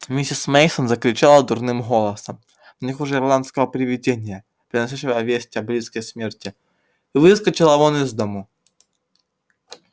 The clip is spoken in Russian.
миссис мейсон закричала дурным голосом не хуже ирландского привидения приносящего весть о близкой смерти и выскочила вон из дома